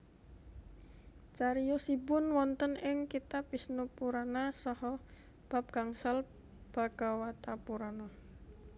Cariyosipun wonten ing kitab Wisnupurana saha bab gangsal Bhagawatapurana